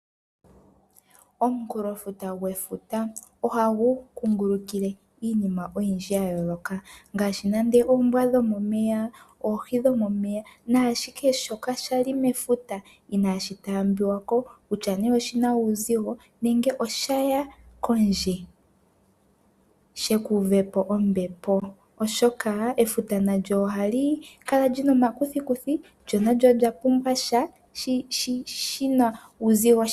Omukulofuta gwefuta ohagu kungulukile iinima oyindji ya yooloka ngaashi nande oombwa dhomomeya, oohi dhomomeya naashihe shoka sha li mefuta inaashi taambiwa ko, kutya nduno oshi na uuzigo, nenge osha ya kondje shi ka uve po ombepo, oshoka efuta nalyo ohali kala li na omakuthikuthi lyo nalyo olya pumbwa sha shi na uuzigo.